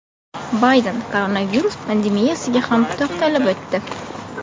Bayden koronavirus pandemiyasiga ham to‘xtalib o‘tdi.